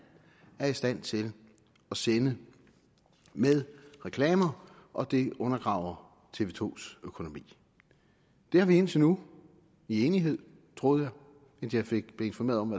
er i stand til at sende med reklamer og det undergraver tv to økonomi det har vi indtil nu i enighed troede jeg indtil jeg blev informeret om